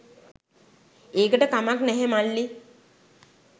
ඒකට කමක් නැහැ මල්ලී